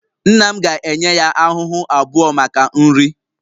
Nna m ga-enye ya ahụhụ abụọ maka nri